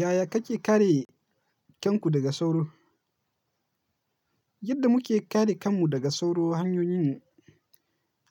Yaya kake kare kanku daga sauro? Yadda muke kare kanmu daga sauro hanyoyin,